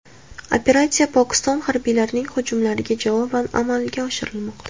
Operatsiya Pokiston harbiylarining hujumlariga javoban amalga oshirilmoqda.